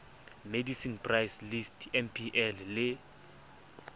medicine price list mpl le